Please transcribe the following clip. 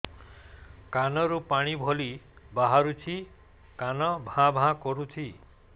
କାନ ରୁ ପାଣି ଭଳି ବାହାରୁଛି କାନ ଭାଁ ଭାଁ କରୁଛି